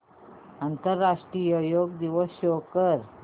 आंतरराष्ट्रीय योग दिवस शो कर